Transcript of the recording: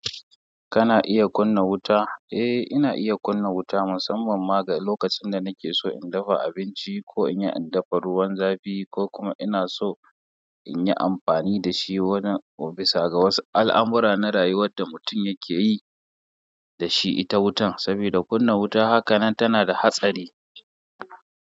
Kana iya kunna wuta? Eh, ina iya kunna wuta musamman ma ga lokacin da nake so in dafa abinci ko in yi in dafa ruwan zafi ko kuma ina so in yi amfani da shi wanin. Ko bisa ga wasu al'amura na rayuwar da mutum yake yi da shi ita wutan, saboda kunna wuta hakanan tana da hatsari.